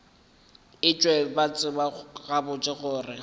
etšwe ba tseba gabotse gore